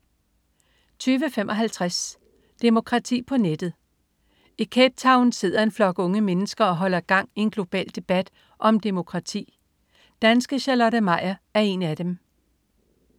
20.55 Demokrati på nettet. I Cape Town sidder en flok unge mennesker og holder gang i en global debat om demokrati. Danske Charlotte Meyer er en af dem